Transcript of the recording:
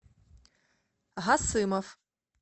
гасымов